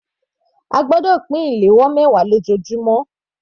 A gbọ́dọ̀ pín flier mẹwa lójoojúmọ́.